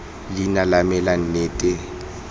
leina la me la nnete